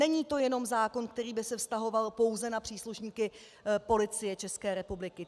Není to jenom zákon, který by se vztahoval pouze na příslušníky Policie České republiky.